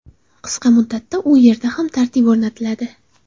Qisqa muddatda u yerda ham tartib o‘rnatiladi.